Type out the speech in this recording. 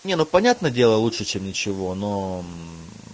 не ну понятно дело лучше чем ничего но